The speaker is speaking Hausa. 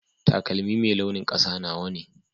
Taƙalmi mai launin ƙasa nawa ne.